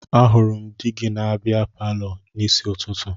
Ahụrụ m di gị na bịa palọ n'isi ụtụtụ